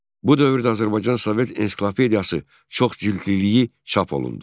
Bu dövrdə Azərbaycan Sovet Ensiklopediyası çoxcildliliyi çap olundu.